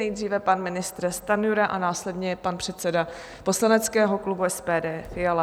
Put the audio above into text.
Nejdříve pan ministr Stanjura a následně pan předseda poslaneckého klubu SPD Fiala.